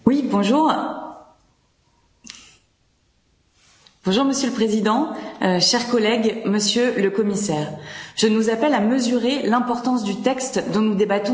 Bonjour, Monsieur le Président, chers collègues, Monsieur le commissaire, je nous appelle à mesurer l'importance du texte dont nous débattons aujourd'hui et pour lequel je félicite sa rapporteure Delara Burkhardt.